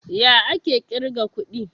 Ya ake kirga kuɗi?